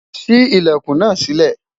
sí ilẹkùn nà sile